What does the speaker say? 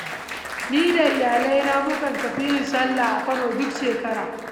Ni da iyalaina mukan tafi yin sallah a Kano duk shekara.